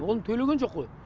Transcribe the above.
оны төлеген жоқ қой